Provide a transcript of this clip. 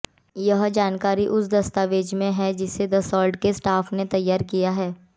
यह जानकारी उस दस्तावेज़ में है जिसे दसॉल्ट के स्टाफ ने तैयार किया है